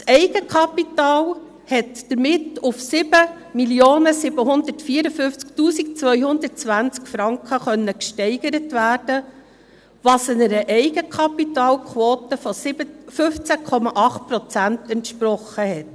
Das Eigenkapital konnte damit auf 7 754 220 Franken gesteigert werden, was einer Eigenkapitalquote von 15,8 Prozent entspricht.